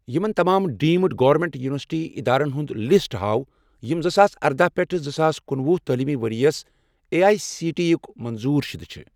یِمَن تمام deemed government university ادارن ہُنٛد لسٹ ہاو یِم زٕساس اردَہ پیٹھ زٕساس کنُۄہُ تعلیٖمی ورۍ یَس A I C T E یٕک منظور شُدٕ چھِ